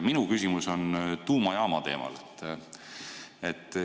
Minu küsimus on tuumajaama teemal.